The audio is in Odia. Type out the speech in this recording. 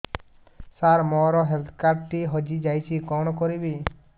ସାର ମୋର ହେଲ୍ଥ କାର୍ଡ ଟି ହଜି ଯାଇଛି କଣ କରିବି